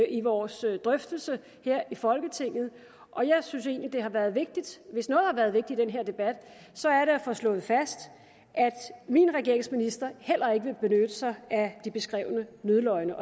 i vores drøftelser her i folketinget og jeg synes egentlig at har været vigtigt i den her debat så er det at få slået fast at min regerings ministre heller ikke vil benytte sig at de beskrevne nødløgne